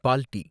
பால் tea.